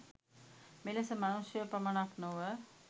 මෙලෙස මනුෂ්‍යයෝ පමණක් නොව